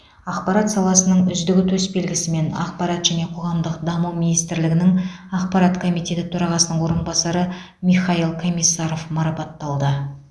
ақпарат саласының үздігі төсбелгісімен ақпарат және қоғамдық даму министрлігінің ақпарат комитеті төрағасының орынбасары михаил комиссаров марапатталды